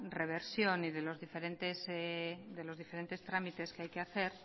reversión y de los diferentes trámites que hay que hacer